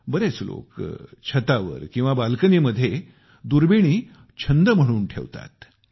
बरेच लोक छत किंवा बाल्कनीमध्ये दुर्बिणी छंद म्हणून ठेवतात